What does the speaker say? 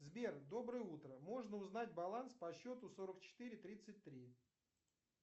сбер доброе утро можно узнать баланс по счету сорок четыре тридцать три